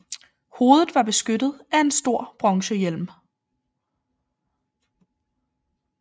Hovedet var beskyttet af en stor bronzehjelm